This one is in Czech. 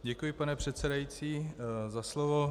Děkuji, pane předsedající, za slovo.